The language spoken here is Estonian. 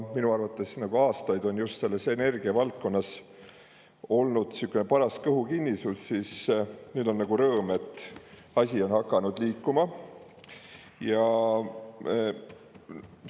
Minu arvates on juba aastaid olnud energiavaldkonnas sihukene paras kõhukinnisus, aga nüüd on asjad hakanud liikuma ja selle üle on suur rõõm.